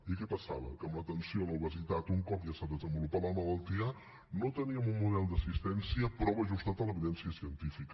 i què passava que amb l’atenció a l’obesitat un cop ja s’ha desenvolupat la malaltia no teníem un model d’assistència prou ajustat a l’evidència científica